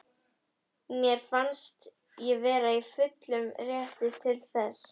Mér fannst ég vera í fullum rétti til þess.